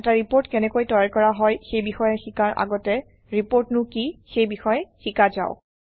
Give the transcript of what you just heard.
এটা ৰিপৰ্ট কেনেকৈ তৈয়াৰ কৰা হয় সেই বিষয়ে শিকাৰ আগতে ৰিপৰ্টনো কি সেই বিষয়ে শিকা যাওক